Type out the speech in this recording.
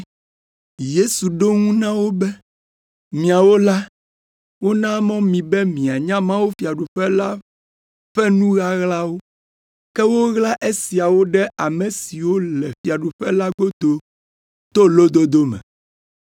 Yesu ɖo eŋu na wo be, “Miawo la, wona mɔ mi be mianya mawufiaɖuƒe la ƒe nu ɣaɣlawo, ke woɣla esiawo ɖe ame siwo le fiaɖuƒe la godo to lododo me.